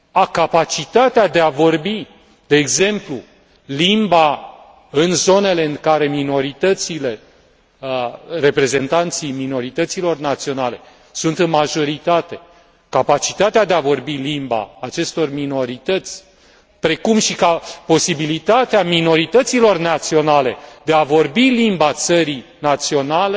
Capacitatea de a vorbi, de exemplu, limba în zonele în care reprezentanții minorităților naționale sunt în majoritate capacitatea de a vorbi limba a acestor minorități precum și posibilitatea minorităților naționale de a vorbi limba țării naționale,